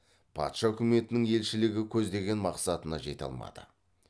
патша үкіметінің елшілігі көздеген мақсатына жете алмады